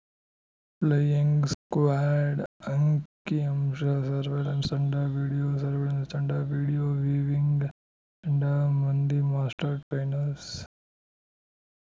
flying squad ಅಂಕಿಅಂಶ surveillance ತಂಡ video surveillance ತಂಡ ವೀಡಿಯೊ ವಿವಿಂಗ್ ತಂಡ ಮಂದಿ ಮಾಸ್ಟರ್ ಟ್ರೈನರ್‍ಸ್